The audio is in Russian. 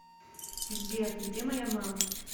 сбер где моя мама